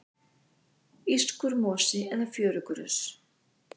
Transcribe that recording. írskur mosi eða fjörugrös